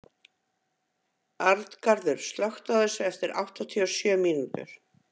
Arngarður, slökktu á þessu eftir áttatíu og sjö mínútur.